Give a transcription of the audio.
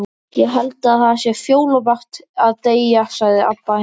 Ég held það sé fjólublátt að deyja, sagði Abba hin.